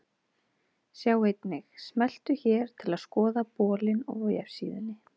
Sjá einnig: Smelltu hér til að skoða bolinn á vefsíðunni.